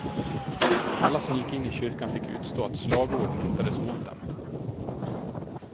Alla som gick in i kyrkan fick utstå att slagord riktades mot dem.